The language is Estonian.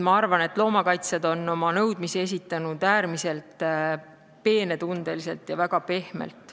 Ma arvan, et loomakaitsjad on oma nõudmisi esitanud äärmiselt peenetundeliselt ja väga pehmelt.